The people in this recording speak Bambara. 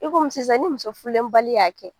I komi sisan ni muso furulenbali y'a kɛ.